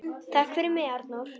Takk fyrir mig, Arnór.